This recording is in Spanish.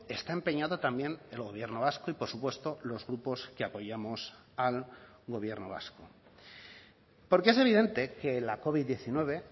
está empeñado también el gobierno vasco y por supuesto los grupos que apoyamos al gobierno vasco porque es evidente que la covid diecinueve